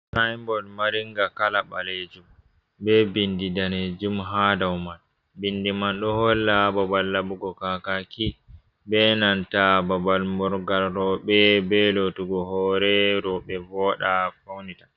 Sainbod maringa kala ɓalejum be vindi danejum ha dow ma bindi man ɗo holla babal laɓugo kakaki be nanta babal moral rowɓe be lotugo hore rowɓe voɗa faunata.